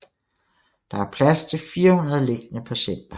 Der er plads til 400 liggende patienter